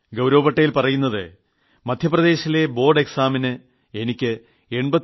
ഗൌരവ് പട്ടേൽ പറയുന്നത് മദ്ധ്യപ്രദേശിലെ ബോർഡ് പരീക്ഷയിൽ തനിക്ക് 89